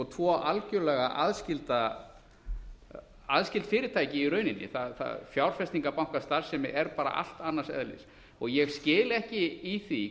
tvo algjörlega aðskilin fyrirtæki í rauninni fjárfestingarbankastarfsemi er bara allt annars eðlis ég skil ekki í því